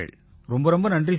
ரொம்ப நன்றி சார்